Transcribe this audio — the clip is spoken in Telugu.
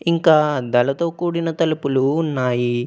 ఇంకా అద్దాలతో కూడిన తలుపులు ఉన్నాయి.